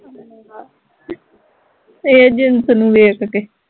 ਏਹ ਜਿਣਸ ਨੂੰ ਵੇਖ ਕੇ